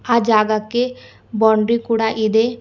ಆ ಜಾಗಕ್ಕೆ ಬೌಂಡ್ರೀ ಕೂಡ ಇದೆ.